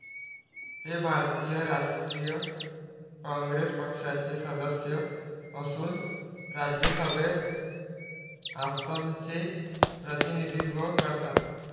ते भारतीय राष्ट्रीय काँग्रेस पक्षाचे सदस्य असून राज्यसभेत आसामचे प्रतिनिधित्व करतात.